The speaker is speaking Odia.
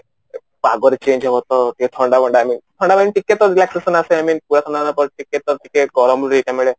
ପାଗ ରେ change ହବ ତ ଟିକେ ଥଣ୍ଡା ବଣ୍ଡା I mean ଥଣ୍ଡା ମାନେ ଟିକେ ତ relaxation ଆସିବା I mean ଟିକେ ତ ଟିକେ ଗରମ ରୁ ଇଏଟା ମିଳେ